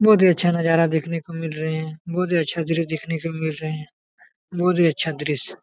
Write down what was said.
बहुत ही अच्छा नजारा देखने को मिल रहे है बहुत ही अच्छा दृष्य देखने को मिल रहे है बहुत ही अच्छा दृष्य--